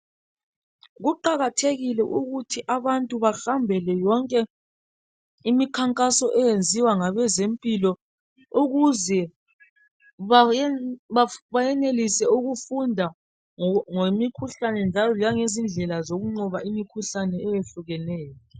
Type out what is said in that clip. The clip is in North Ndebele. Kuqakathekile ukuthi abantu bahambele yonke imikhankaso eyenziwa ngabezempilo ukuze bayenelise ukufunda ngemikhuhlane njalo langezindlela zokunqoba imikhuhlane eyehlukeneyo.